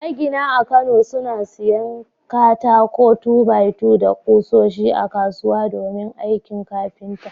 Magina a kano suna siyan katakon 2-by-2 da kusoshi a kasuwa domin aikin kafinta.